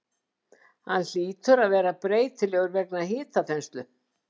Hann hlýtur að vera breytilegur vegna hitaþenslu?